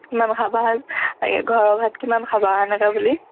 কিমান খাবা ঘৰৰ ভাত কিমান খাবা এনেকে বুলি